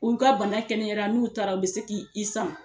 U ka bana kɛnɛyara n'u taara u bɛ se k' i sama